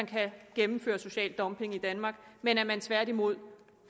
kan gennemføres social dumping i danmark men at man tværtimod